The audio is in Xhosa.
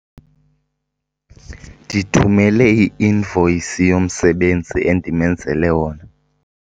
Ndithumele i-invoyisi yomsebenzi endimenzele wona.